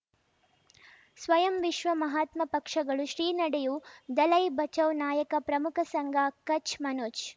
ಸ್ವಯಂ ವಿಶ್ವ ಮಹಾತ್ಮ ಪಕ್ಷಗಳು ಶ್ರೀ ನಡೆಯೂ ದಲೈ ಬಚೌ ನಾಯಕ ಪ್ರಮುಖ ಸಂಘ ಕಚ್ ಮನೋಜ್